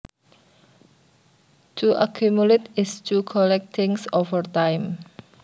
To accumulate is to collect things over time